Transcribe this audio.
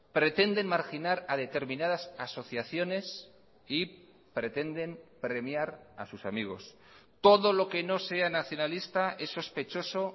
pretenden marginar a determinadas asociaciones y pretenden premiar a sus amigos todo lo que no sea nacionalista es sospechoso